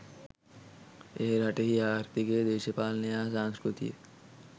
එය රටෙහි ආර්ථීකය දේශපාලනය හා සංස්කෘතිය